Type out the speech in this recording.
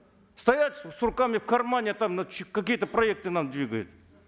стоят с руками в кармане там какие то проекты нам двигают